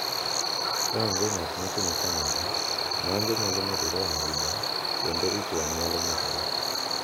Ka onge ng’at ma timo kamano, ng’anjo nyalo medore ahinya, kendo ich wang’ nyalo medore.